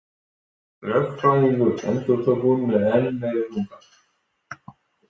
Lögfræðingur, endurtók hún með enn meiri þunga.